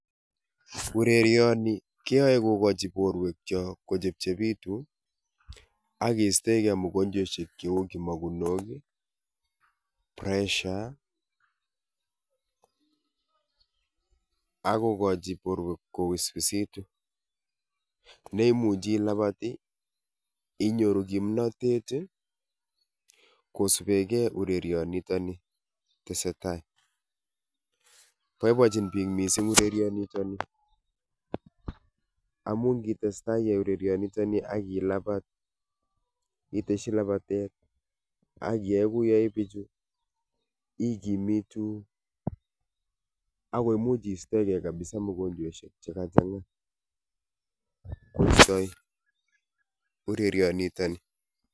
Urerioni keyoe kokochi borwekiok kochepchepitun ak kistoeng'e mugonjwoishek cheu kimokunok, pressure ak kokochi borwek koususitu neimuche ilabat inyoru kipnotet kosupekee urerionoton nii tesetai, boiboenchin biik mising urerionoton nii amun ng'itestai iyai urerioni niton nii ak ilabat itesyi labatet ak kiyai kou yeyoe bichu ilkimitu ak kimuch kistoeke kabisaa mugonjweishek chekachang'a kostoi urerionoton nii.